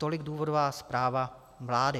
Tolik důvodová zpráva vlády.